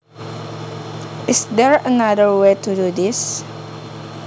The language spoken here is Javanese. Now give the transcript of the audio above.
Is there another way to do this